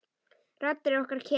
Raddir okkar kela.